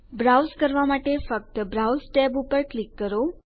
browse કરવા માટે ફક્ત બ્રાઉઝ ટેબ પર ક્લિક કરો